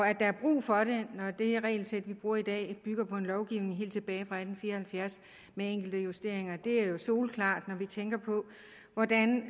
at der er brug for det når det regelsæt vi bruger i dag bygger på en lovgivning helt tilbage fra atten fire og halvfjerds med enkelte justeringer er jo soleklart når vi tænker på hvordan